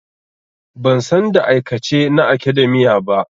Ban san da aikace na academia ba.